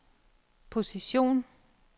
position